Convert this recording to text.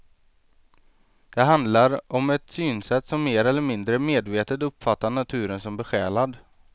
Det handlar om ett synsätt som mer eller mindre medvetet uppfattar naturen som besjälad.